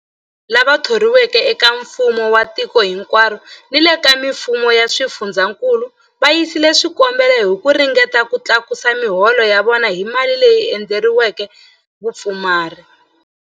Kwalomu ka 17,000 wa vanhu lava thoriweke eka mfumo wa tiko hinkwaro ni le ka mifumo ya swifundzankulu va yisile swikombelo hi ku ringeta ku tlakusa miholo ya vona hi mali leyi endleriweke vapfumari.